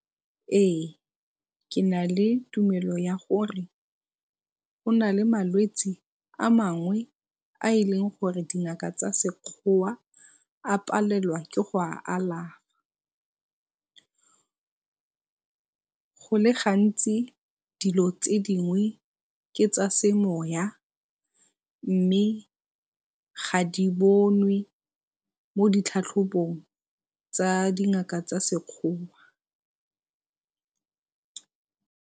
Ee, ke na le tumelo ya gore go na le malwetsi a mangwe a e leng gore dingaka tsa Sekgowa a palelwa ke go a alafa. Go le gantsi dilo tse dingwe ke tsa semoya mme ga di bonwe mo ditlhatlhobong tsa dingaka tsa Sekgowa.